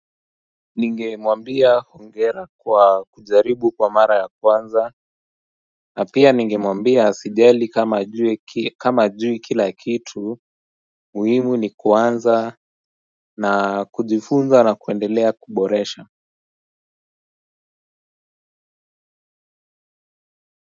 Ningemwambia hongera kwa kujaribu kwa mara ya kwanza. Na pia ningemwambia asijali kama hajui kama hajui kila kitu muhimu ni kuanza na kujifunza na kuendelea kuboresha.